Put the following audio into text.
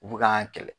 U bi kan kɛlɛ